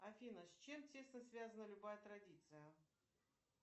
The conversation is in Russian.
афина с чем тесно связана любая традиция